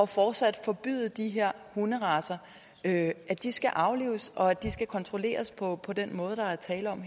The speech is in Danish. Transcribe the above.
fortsat at forbyde de her hunderacer at de skal aflives og at de skal kontrolleres på på den måde der er tale om